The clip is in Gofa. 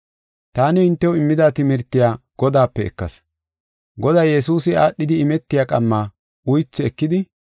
Taani hintew immida timirtiya Godaape ekas. Goday Yesuusi aadhidi imetiya qamma uythu ekidi,